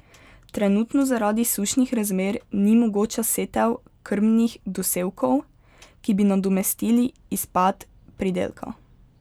Trenutno zaradi sušnih razmer ni mogoča setev krmnih dosevkov, ki bi nadomestili izpad pridelka.